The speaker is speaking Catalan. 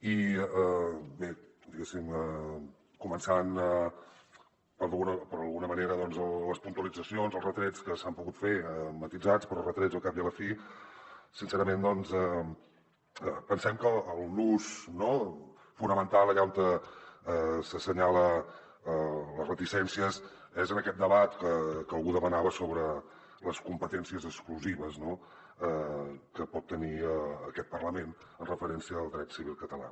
i bé començant d’alguna manera per les puntualitzacions i els retrets que s’han pogut fer matisats però retrets al cap i a la fi sincerament doncs pensem que el nus no fonamental allà on s’assenyala les reticències és en aquest debat que algú demanava sobre les competències exclusives que pot tenir aquest parlament amb referència al dret civil català